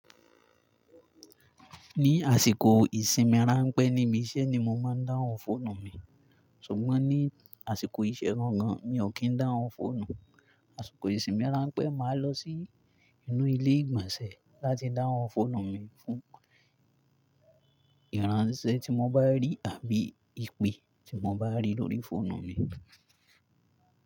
Ní àsìkò ìsinmi ránpẹ́ ni íbi iṣẹ́ ni mo máa ń dáhùn fóònù mi. Ṣùgbọ́n ní àsìkò ìṣẹ́ gan gan, mi ò kí ń dáhùn fóònù. Àsìkò ìsinmi ránpẹ́, màá lọ sí inú ilé ìgbọ̀nsẹ̀ láti dáhùn fóònù mi fún ìránṣẹ́ tí mo bá rí àbí ìpè tí mo bá rí lórí fóònù mi.